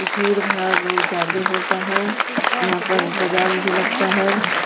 भीड़-भाड़ बहुत ज्यादे होता है। यहाँ पर बाज़ार भी लगता है।